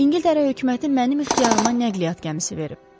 İngiltərə hökuməti mənim ixtiyarıma nəqliyyat gəmisi verib.